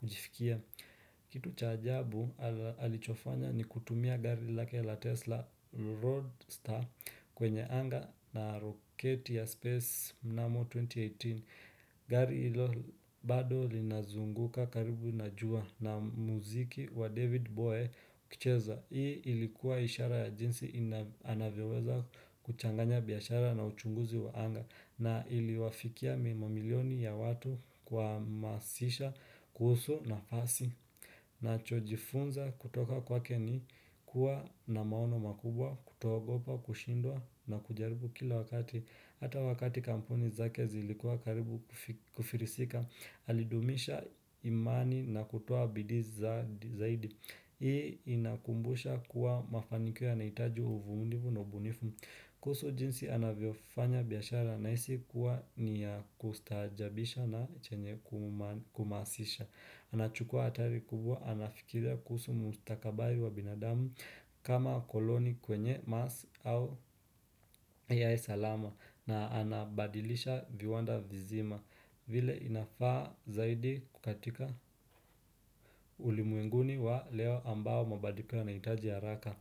kujifikia Kitu cha ajabu alichofanya ni kutumia gari lake la Tesla Roadster kwenye anga na roketi ya Space Namo 2018 gari hilo bado linazunguka karibu na jua na muziki wa David Bowie ukicheza Hii ilikuwa ishara ya jinsi anavyeweza kuchanganya biashara na uchunguzi wa anga na iliwafikia mia milioni ya watu kuhamasisha kuhusu nafasi nachojifunza kutoka kwake ni kuwa na maono makubwa kutoogopa kushindwa na kujaribu kila wakati. Hata wakati kampuni zake zilikuwa karibu kufilisika, alidumisha imani na kutoa bidii zaidi. Hii inakumbusha kuwa mafanikio yanahitaji uvumilivu na ubunifu. Kuhusu jinsi anavyofanya biashara nahisi kuwa ni ya kustahajabisha na chenye kuhamasisha. Anachukua hatari kubwa anafikiria kuhusu mustakabari wa binadamu kama wakoloni kwenye mars au ai salama. Na anabadilisha viwanda vizima vile inafaa zaidi katika ulimwenguni wa leo ambao mabadiko yanahitaji haraka.